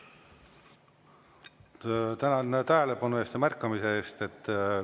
Tänan tähelepanu eest ja märkamise eest!